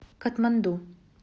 катманду